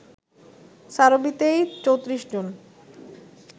সারোবিতেই ৩৪ জন